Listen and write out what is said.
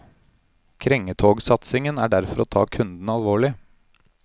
Krengetogsatsingen er derfor å ta kundene alvorlig.